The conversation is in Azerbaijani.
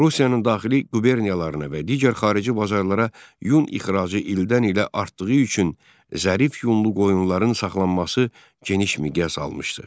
Rusiyanın daxili quberniyalarına və digər xarici bazarlara yun ixracı ildən-ilə artdığı üçün zərif yunlu qoyunların saxlanması geniş miqyas almışdı.